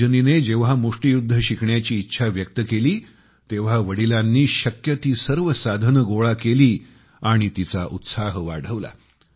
रजनीने जेंव्हा मुष्टियुद्ध शिकण्याची इच्छा व्यक्त केली तेंव्हा वडिलांनी शक्य ती सर्व साधने गोळा केली आणि तिचा उत्साह वाढविला